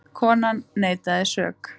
Konan neitaði sök.